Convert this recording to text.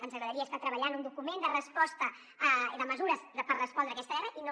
ens agradaria estar treballant un document de resposta de mesures per respondre a aquesta guerra i no